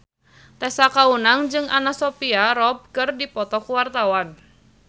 Tessa Kaunang jeung Anna Sophia Robb keur dipoto ku wartawan